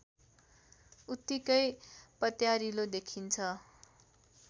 उत्तिकै पत्यारिलो दखिन्छ